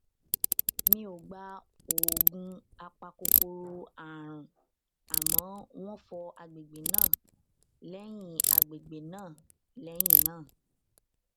mi ò gba oògùn apakòkòrò àrùn àmọ wón fọ àgbègbè náà lẹyìn àgbègbè náà lẹyìn náà